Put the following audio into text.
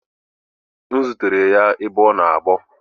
M zutere ya ebe ọ na agbọ